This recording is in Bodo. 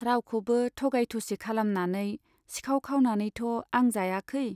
रावखौबो थगाय थसि खालामनानै , सिखाव खावनानैथ' आं जायाखै ।